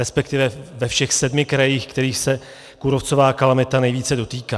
Respektive ve všech sedmi krajích, kterých se kůrovcová kalamita nejvíce dotýká.